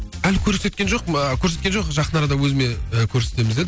әлі көрсеткен жоқ корсеткен жоқ жақын арада өзіме ы көрсетіміз деді